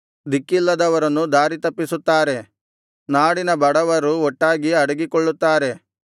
ದಿಕ್ಕಿಲ್ಲದವರನ್ನು ದಾರಿತಪ್ಪಿಸುತ್ತಾರೆ ನಾಡಿನ ಬಡವರು ಒಟ್ಟಾಗಿ ಅಡಗಿಕೊಳ್ಳುತ್ತಾರೆ